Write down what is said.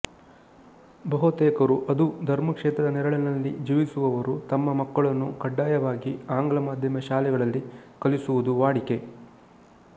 ಬಹುತೇಕರು ಅದೂ ಧರ್ಮಕ್ಷೇತ್ರದ ನೆರಳಿನಲ್ಲಿ ಜೀವಿಸುವವರು ತಮ್ಮ ಮಕ್ಕಳನ್ನು ಕಡ್ಡಾಯವಾಗಿ ಆಂಗ್ಲ ಮಾಧ್ಯಮ ಶಾಲೆಗಳಲ್ಲಿ ಕಲಿಸುವುದು ವಾಡಿಕೆ